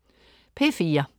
P4: